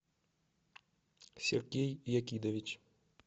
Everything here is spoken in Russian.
сергей якидович